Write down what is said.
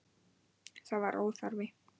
Það var óþarfi.